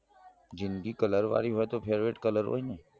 જિંદગી કલારવાળી હોય તો favourite colour હોય ને